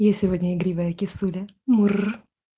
я сегодня игривая кисуля мур